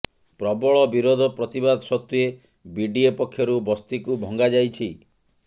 ପ୍ରବଳ ବିରୋଧ ପ୍ରତିବାଦ ସତ୍ତ୍ବେ ବିଡିଏ ପକ୍ଷରୁ ବସ୍ତିକୁ ଭଙ୍ଗାଯାଇଛି